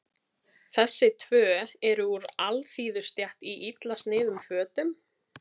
Þessi tvö eru úr alþýðustétt í illa sniðnum fötum.